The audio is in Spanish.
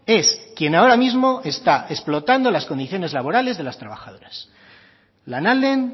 es quién ahora mismo está explotando las condiciones laborales de las trabajadoras lanalden